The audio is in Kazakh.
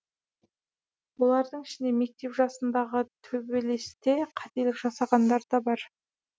олардың ішінде мектеп жасындағы төбелесте қателік жасағандар да бар